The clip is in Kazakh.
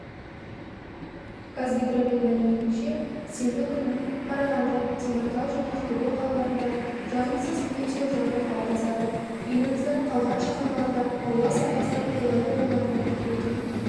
қазгидромет мәліметінше сенбі күні қарағанды теміртау және ақтөбе қалаларында жағымсыз метеожағдай қалыптасады еліміздің қалған шаһарларында ауа сапасы қолайлы болатыны күтілуде